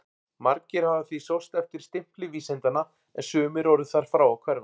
Margir hafa því sóst eftir stimpli vísindanna en sumir orðið þar frá að hverfa.